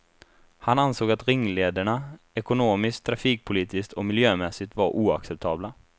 Han ansåg att ringlederna ekonomiskt, trafikpolitiskt och miljömässigt var oacceptabla.